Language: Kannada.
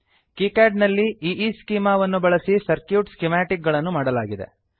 ಕೀಕ್ಯಾಡ್ ನಲ್ಲಿ ಈಸ್ಚೆಮಾ ಈಈಸ್ಕೀಮಾ ವನ್ನು ಬಳಸಿ ಸರ್ಕ್ಯೂಟ್ ಸ್ಕಿಮಾಟಿಕ್ ಗಳನ್ನು ಮಾಡಲಾಗಿದೆ